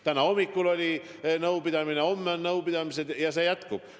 Täna hommikul oli nõupidamine, homme on nõupidamised ja nii see jätkub.